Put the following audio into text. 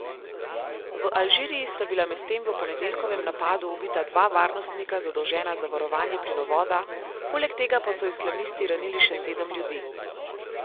V Alžiriji sta bila medtem v ponedeljkovem napadu ubita dva varnostnika, zadolžena za varovanje plinovoda, poleg tega pa so islamisti ranili še sedem ljudi.